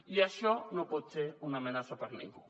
i això no pot ser una amenaça per ningú